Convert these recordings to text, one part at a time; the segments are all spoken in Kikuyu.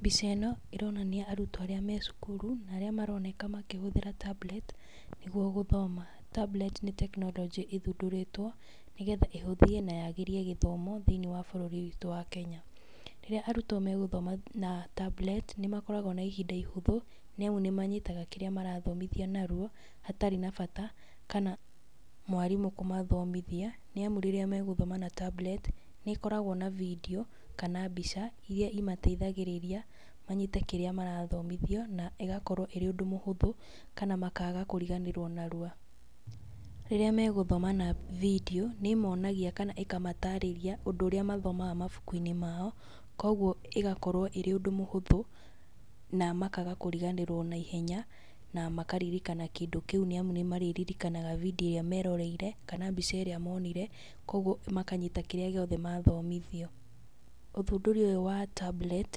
Mbica ĩno ĩronania arutwo arĩa me cukuru na arĩa maronekana magĩtũmĩra tablet nĩguo gũthoma. Tablet nĩ tekinoronjĩ ĩthũndũrĩtwo, nĩgetha ĩhũthie na yagĩrie gĩthomo thĩiniĩ wa bũrũri witũ wa Kenya. Rĩrĩa arũtwo megũthoma na tablet nĩmakoragwo na ihĩnda ihũthũ, nĩ amu nĩmanyitaga kĩrĩa marathomithio narũa hatarĩ na bata kana mwarimũ kũmathomithia, nĩ amu rĩrĩa megũthoma na tablet nĩ ĩkoragwo na bindiũ kana mbica iria mateithagĩrĩria manyite kĩrĩa marathomithio na ĩgakorwo ĩrĩ ũhũthũ kana makaga kũriganĩrwo narũa. Rĩrĩa megũthomithĩo na bindiũ nĩ ĩmonagia kana ĩkamatarĩria ũndũ ũrĩa mathomaga mabũkũ-inĩ mao, koguo ĩgakorwo ĩrĩ ũndũ mũhũthũ na makaga kũriganĩrwo naihenya, na makaririkana kĩndũ kĩũ, amũ nĩmarĩririkanaga bindiũ ĩrĩa meroreire kana mbica ĩrĩa monire koguo makanyita kĩrĩa gĩothe mathomithio. Ũthũndũri ũyũ wa tablet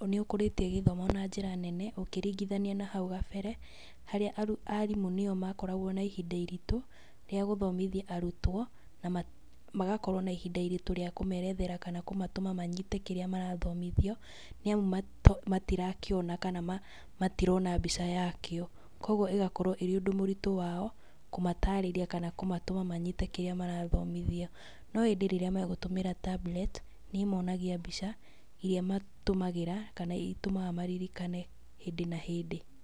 nĩũkũrĩtie gĩthomo na njĩra nene, ũkĩringithanio na nahau kabere, harĩa arimũ nĩo makoragwo na ihinda iritũ rĩa gũthomithia arũtwo na magakorwo na ihinda iritũ rĩa kũmerethera kana kũmatũma manyite kĩrĩa marathomithio, nĩamũ matirakĩona kana matirona mbica yakĩo, koguo ĩgakorwo arĩ ũndũ mũritũ wao kũmatarĩrĩa kana kũmatũma manyite kĩrĩa marathomithio no ĩndĩ rĩrĩa maratũmĩra tablet nĩ ĩmonagia mbica iria matũmagĩra, kana itũmaga maririkane hĩndĩ na hĩndĩ.